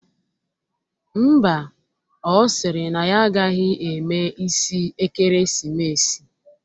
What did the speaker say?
Ḿbà, ọ sịrị na ya agaghị eme isi ekeresimesi